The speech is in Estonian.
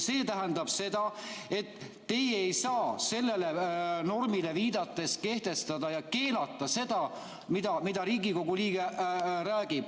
See tähendab seda, et teie ei saa sellele normile viidates kehtestada ja keelata seda, mida Riigikogu liige räägib.